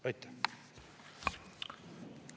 Aitäh!